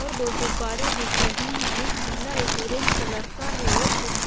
और दो गुब्बारे दिख रहे हैं एक पीला एक ऑरेंज कलर का है और कुछ --